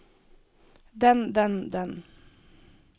den den den